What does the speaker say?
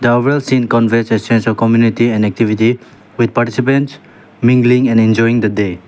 scene conveys a sense of community and activity with participants mingling and enjoying the day.